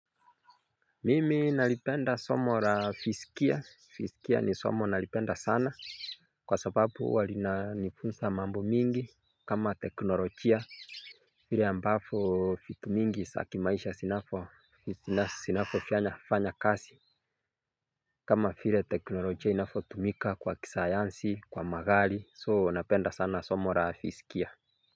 Mimi nalipenda somo la fizikia, fizikia ni somo nalipenda sana kwa sababu huwa linanifunza mambo mingi kama teknolojia. Vile ambavyo vitu mingi za kimaisha zinafo, zinavyofanya kazi. Kama vile teknolojia inavyotumika kwa kisayansi, kwa magari so napenda sana somo la fizikia.